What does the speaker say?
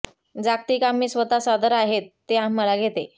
जागतिक आम्ही स्वतः सादर आहेत ते आम्हाला घेते